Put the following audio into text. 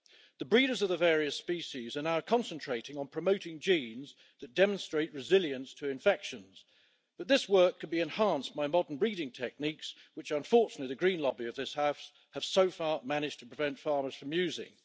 The breeders of the various species are now concentrating on promoting genes that demonstrate resilience to infections, but this work could be enhanced by modern breeding techniques, which unfortunately the Green lobby of this House has so far managed to prevent farmers from using.